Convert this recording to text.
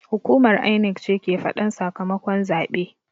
Hukumar INEC ce ke faɗan sakamakon zaɓe